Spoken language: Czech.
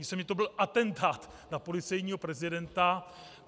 Myslím, že to byl atentát na policejního prezidenta.